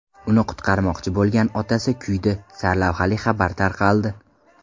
Uni qutqarmoqchi bo‘lgan otasi kuydi” sarlavhali xabar tarqaldi.